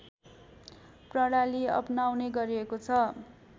प्रणाली अपनाउने गरिएको छ